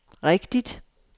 rigtigt